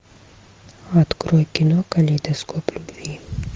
открой кино калейдоскоп любви